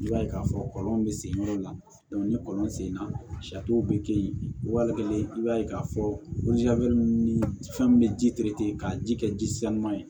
I b'a ye k'a fɔ kɔlɔn bɛ sen yɔrɔ la ni kɔlɔn senna bɛ kɛ yen wale ye i b'a ye k'a fɔ ni fɛn min bɛ ji ka ji kɛ ji saluna ye